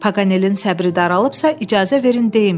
“Paqanelin səbri daralıbsa, icazə verin deyim.”